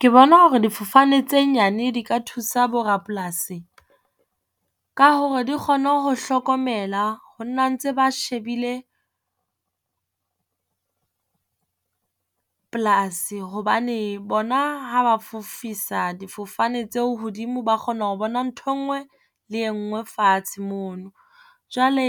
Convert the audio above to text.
Ke bona hore difofane tse nyane di ka thusa bo rapolasi ka hore di kgone ho hlokomela ho nna ntse ba shebile polasi, hobane bona ha ba fofisa difofane tseo hodimo ba kgona ho bona ntho e ngwe le e ngwe fatshe mono. Jwale